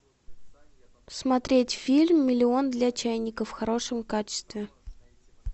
смотреть фильм миллион для чайников в хорошем качестве